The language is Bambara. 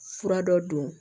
Fura dɔ don